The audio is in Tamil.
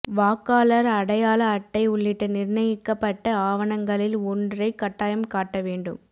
வாக்காளர் அடையாள அட்டை உள்ளிட்ட நிர்ணயிக்கப்பட்ட ஆவணங்களில் ஒன்றை கட்டாயம் காட்ட வேண்டும்